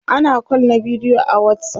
ana call na bidiyo a watsapp